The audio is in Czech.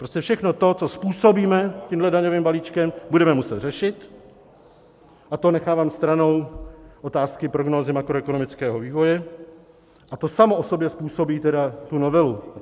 Prostě všechno to, co způsobíme tímto daňovým balíčkem, budeme muset řešit, a to nechávám stranou otázky prognózy makroekonomického vývoje, a to samo o sobě způsobí tedy tu novelu.